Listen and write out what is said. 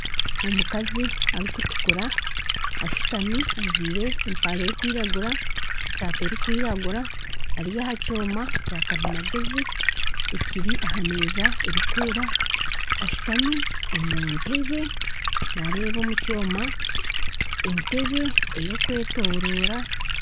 Omukazi arikutukura ashuutami ajwaire empare erikwiragura, esaati erikwiragura ari aha kyoma kya karimagyezi ekiri aha meeza erikwera ashutami omu ntebe naareeba omu kyoma entebe ey'okwetorora